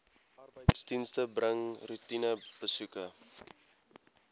arbeidsdienste bring roetinebesoeke